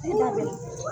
N'a bɛ